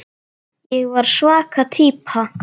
Ég var svaka týpa.